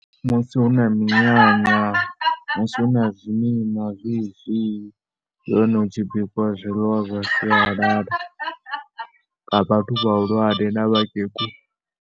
Musi hu na minyanya, musi hu na zwimima zwezwi ndi hone hu tshi bikiwa zwiḽiwa zwa sialala nga vhathu vhahulwane na vhakegulu.